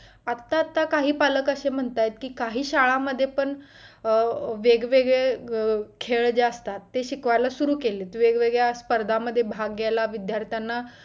अत्ता अत्ता काही पालक असे म्हणतायेत आहे की काही शाळामध्ये पण वेगवेगळे खेळ जे असतात ते शिकवायला सुरू केलेत वेगवेगळ्या स्पर्धांमध्ये भाग घ्यायला विद्दार्थ्याना